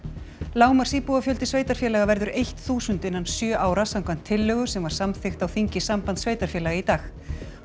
lágmarksíbúafjöldi sveitarfélaga verður eitt þúsund innan sjö ára samkvæmt tillögu sem samþykkt var á þingi Sambands sveitarfélaga í dag